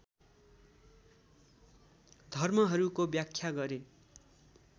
धर्महरूको व्याख्या गरे